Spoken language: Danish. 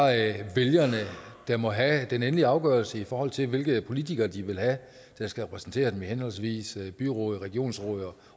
vælgerne der må have den endelige afgørelse i forhold til hvilke politikere de vil have der skal repræsentere dem i henholdsvis byråd regionsråd